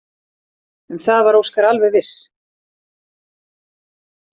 Um það var Óskar alveg viss.